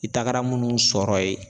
I tagara munnu sɔrɔ ye